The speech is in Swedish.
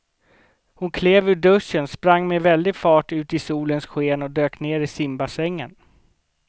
Hon klev ur duschen, sprang med väldig fart ut i solens sken och dök ner i simbassängen.